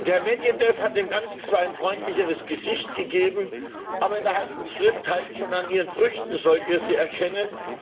Herr Medwedew hat dem Ganzen zwar ein freundlicheres Gesicht gegeben, aber in der Heiligen Schrift heißt es schon An ihren Früchten sollt ihr sie erkennen.